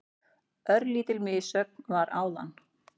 Örlítil missögn var áðan.